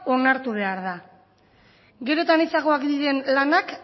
onartu behar da gero eta anitzagoak diren lanak